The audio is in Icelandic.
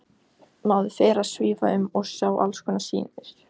Maður fer að svífa um og sjá alls konar sýnir.